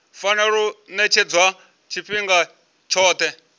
fanela u ṅetshedzwa tshifhinga tshoṱhe